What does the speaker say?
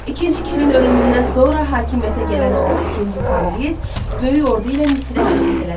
İkinci Kirin ölümündən sonra hakimiyyətə gələn oğlu ikinci Kambiz böyük ordu ilə Misrə hərəkət elədi.